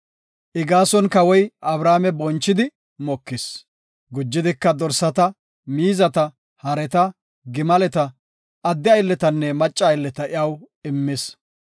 I gaason kawoy Abrame bonchidi mokis. Gujidika dorsata, miizata, hareta, gimaleta, adde aylletanne macca aylleta iyaw immis.